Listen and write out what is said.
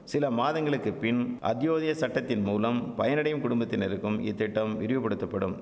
சில மாதங்களுக்குப்பின் அத்யோதய சட்டத்தின்மூலம் பயனடையும் குடும்பத்தினருக்கும் இத்திட்டம் விரிவுபடுத்தப்படும்